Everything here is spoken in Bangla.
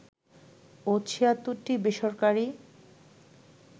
ও ৭৬টি বেসরকারি